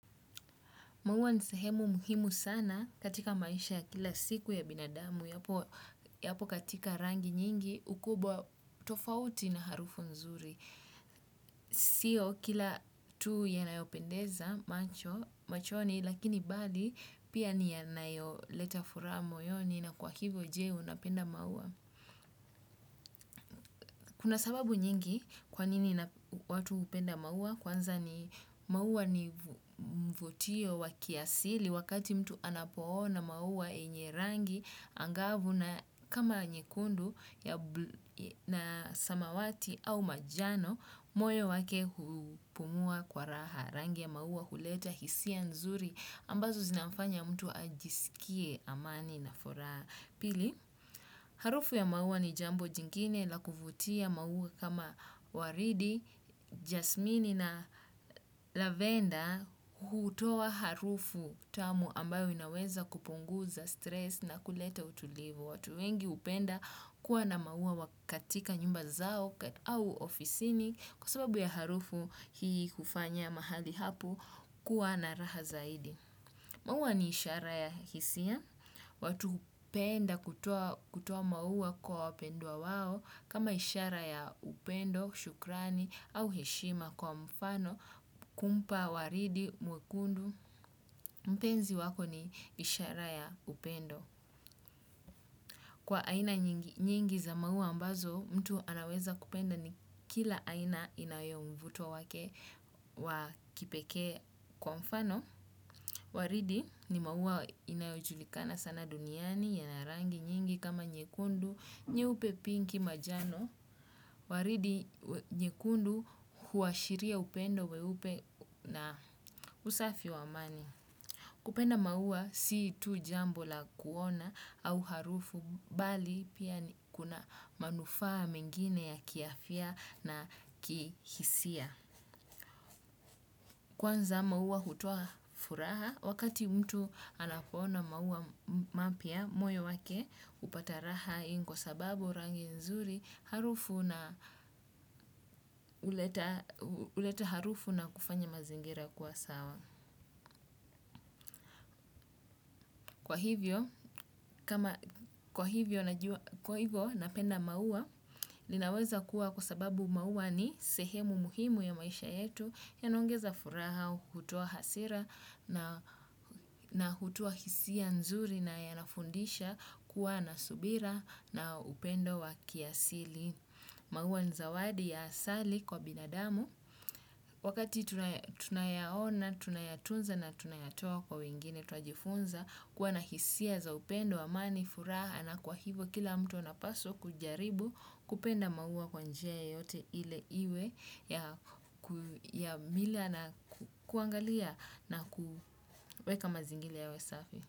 Maua ni sahemu muhimu sana katika maisha kila siku ya binadamu. Yapo katika rangi nyingi ukubwa tofauti na harufu nzuri. Sio kila tu yanayopendeza macho, machoni, lakini bali pia ni yanayoleta furaha moyoni na kwa hivyo je, unapenda maua? Kuna sababu nyingi kwanini watu hupenda maua. Kwanza ni maua ni mvutio wa kiasili wakati mtu anapoona maua yenye rangi angavu na kama nyekundu na samawati au manjano, moyo wake hupumua kwa raha. Rangi ya maua huleta hisia nzuri ambazo zinafanya mtu ajisikie amani na furaha. Pili. Harufu ya maua ni jambo jingine la kuvutia maua kama waridi, jasmini na lavenda hutoa harufu tamu ambayo inaweza kupunguza stress na kuleta utulivu. Watu wengi hupenda kuwa na maua katika nyumba zao au ofisini kwa sababu ya harufu hii kufanya mahali hapo kuwa na raha zaidi. Maua ni ishara ya hisia, watu hupenda kutoa maua kwa wapendwa wao, kama ishara ya upendo, shukrani, au heshima kwa mfano, kumpa, waridi, mwekundu, mpenzi wako ni ishara ya upendo. Kwa aina nyingi za maua ambazo mtu anaweza kupenda ni kila aina inayo mvuto wake wa kipekee kwa mfano. Waridi ni maua inayojulikana sana duniani yana rangi nyingi kama nyekundu nyeupe pinki manjano. Waridi nyekundu huashiria upendo, weupe na usafi wa amani. Kupenda maua si tu jambo la kuona au harufu bali pia ni kuna manufaa mingine ya kiafya na kihisia. Kwanza maua hutua furaha wakati mtu anapoona maua mapya moyo wake hupata raha hii ni kwa sababu rangi nzuri harufu na huleta harufu na kufanya mazingira kwa sawa. Kwa hivyo, kwa hivyo napenda maua, ninaweza kuwa kwa sababu maua ni sehemu muhimu ya maisha yetu yanaongeza furaha, hutua hasira na hutoa hisia nzuri na yanafundisha kuwa na subira na upendo wa kiasili. Maua ni zawadi ya asali kwa binadamu. Wakati tunayaona, tunayatunza na tunayatua kwa wengine, tuajifunza kuwa na hisia za upendo, amani, furaha na kwa hivo kila mtu anapaswa kujaribu kupenda maua kwa njia yoyote ile iwe ya mila na kuangalia na kuweka mazingira yawe safi.